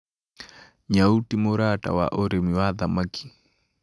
Nyau ti mũrata wa ũrĩmi wa thamaki